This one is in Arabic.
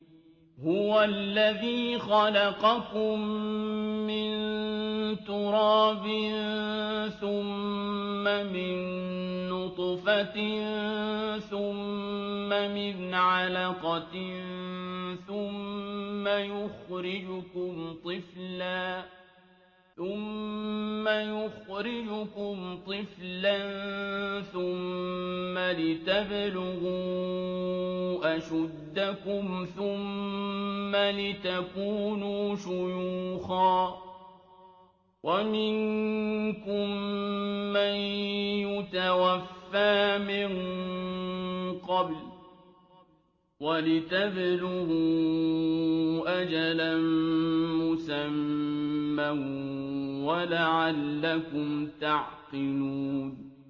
هُوَ الَّذِي خَلَقَكُم مِّن تُرَابٍ ثُمَّ مِن نُّطْفَةٍ ثُمَّ مِنْ عَلَقَةٍ ثُمَّ يُخْرِجُكُمْ طِفْلًا ثُمَّ لِتَبْلُغُوا أَشُدَّكُمْ ثُمَّ لِتَكُونُوا شُيُوخًا ۚ وَمِنكُم مَّن يُتَوَفَّىٰ مِن قَبْلُ ۖ وَلِتَبْلُغُوا أَجَلًا مُّسَمًّى وَلَعَلَّكُمْ تَعْقِلُونَ